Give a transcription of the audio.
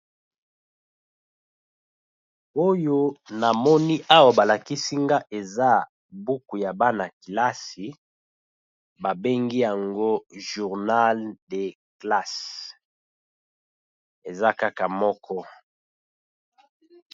Oyo na moni awa ba lakisi nga eza buku ya bana-kilasi, ba bengi yango journal de classe eza kaka moko.